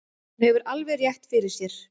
Hún hefur alveg rétt fyrir sér.